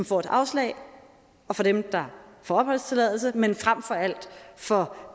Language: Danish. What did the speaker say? får et afslag og for dem der får opholdstilladelse men frem for alt for